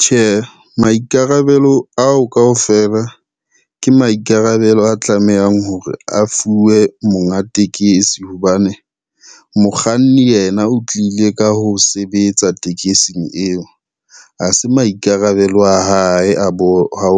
Tjhe, maikarabelo ao kaofela, ke maikarabelo a tlamehang hore a fuwe monga tekesi hobane, mokganni yena o tlile ka ho sebetsa tekesing eo. Ha se maikarabelo a hae a